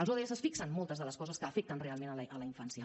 els odss fixen moltes de les coses que afecten realment la infància